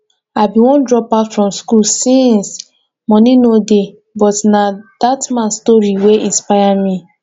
i bin wan drop out from school since money no dey but na dat man story wey inspire me